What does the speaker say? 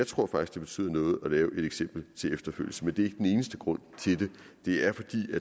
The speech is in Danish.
tror at det betyder noget at være et eksempel til efterfølgelse men det er ikke den eneste grund til det det er fordi